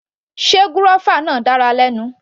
Sé gúrọ́fà náà dára lẹ́nu.